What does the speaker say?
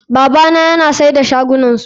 Babana yana sai da shagunansu.